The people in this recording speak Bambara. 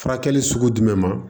Furakɛli sugu jumɛn ma